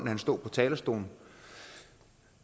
han stod på talerstolen